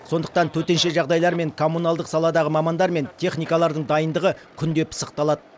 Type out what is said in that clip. сондықтан төтенше жағдайлар мен коммуналдық саладағы мамандар мен техникалардың дайындығы күнде пысықталады